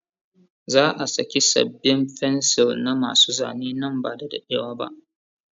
Za a saki sabin fencil na ma su Zane nan bada daɗewa ba